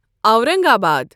Aurangabad